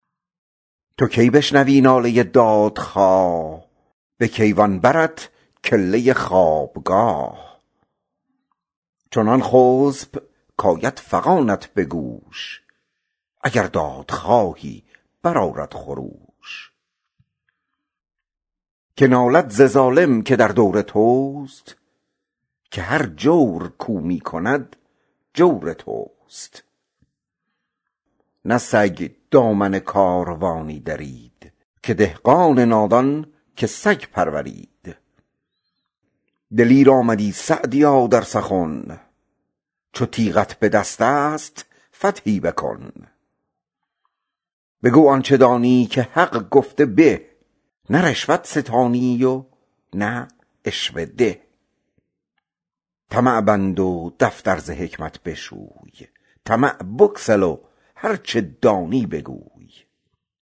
تو کی بشنوی ناله دادخواه به کیوان برت کله خوابگاه چنان خسب کآید فغانت به گوش اگر دادخواهی برآرد خروش که نالد ز ظالم که در دور توست که هر جور کاو می کند جور توست نه سگ دامن کاروانی درید که دهقان نادان که سگ پرورید دلیر آمدی سعدیا در سخن چو تیغت به دست است فتحی بکن بگو آنچه دانی که حق گفته به نه رشوت ستانی و نه عشوه ده طمع بند و دفتر ز حکمت بشوی طمع بگسل و هرچه دانی بگوی